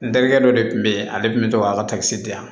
N terikɛ dɔ de kun bɛ yen ale tun bɛ to k'a ka di yan